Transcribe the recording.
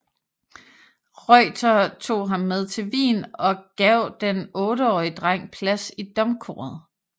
Reutter tog ham med til Wien og gav den otteårige dreng plads i domkoret